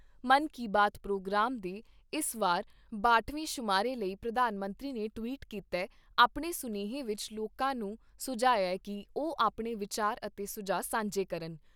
ਮਨ ਕੀ ਬਾਤ ' ਪ੍ਰੋਗਰਾਮ ਦੇ ਇਸ ਵਾਰ ਬਾਹਟ ਵੇਂ ਸ਼ੁਮਾਰੇ ਲਈ ਪ੍ਰਧਾਨ ਮੰਤਰੀ ਨੇ ਟਵੀਟ ਕੀਤੇ ਆਪਣੇ ਸੁਨੇਹੇ ਵਿਚ ਲੋਕਾਂ ਨੂੰ ਸੁਝਾਇਐ ਕਿ ਉਹ ਆਪਣੇ ਵਿਚਾਰ ਅਤੇ ਸੁਝਾਅ ਸਾਂਝੇ ਕਰਨ ।